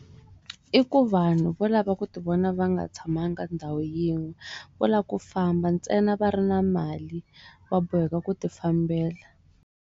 I ku vanhu vo lava ku ti vona va nga tshamanga ndhawu yin'we va lava ku famba ntsena va ri na mali wa boheka ku ti fambela.